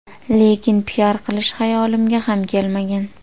Lekin piar qilish xayolimga ham kelmagan.